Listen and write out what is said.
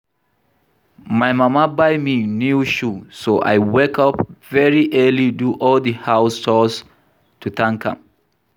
My mama buy me new shoe so I wake up very early do all the house chores to thank am